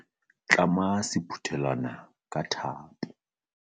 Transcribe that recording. Tlama sephuthelwana ka thapo.